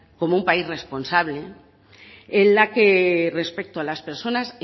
como un país responsable en la que respecto las personas